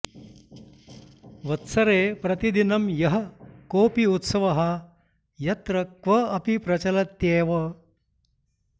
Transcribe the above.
वत्सरे प्रतिदिनं यः कोऽपि उत्सवः यत्र क्व अपि प्रचलत्येव